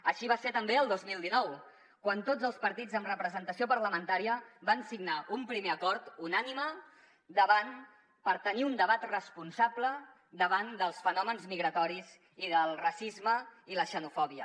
així va ser també el dos mil dinou quan tots els partits amb representació parlamentària van signar un primer acord unànime per tenir un debat responsable davant dels fenòmens migratoris i del racisme i la xenofòbia